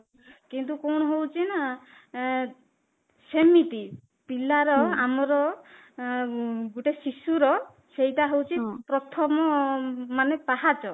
କିନ୍ତୁ କଣ ହଉଚି ନା ଏଂ ହେମିତି ପିଲାର ଆମର ଉମ ଗୋଟେ ଶିଶୁର ସେଇଟା ହଉଚି ଗୋଟେ ପ୍ରଥମ ମାନେ ପାହାଚ